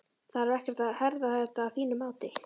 Þarf ekkert að herða þetta að þínu mati?